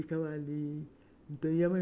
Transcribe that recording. Ficava ali.